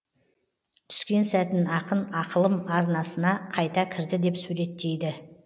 түскен сәтін ақын ақылым арнасына қайта кірді деп суреттейді